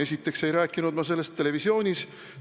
Esiteks ei rääkinud ma sellest televisioonis.